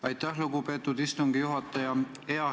Aitäh, lugupeetud istungi juhataja!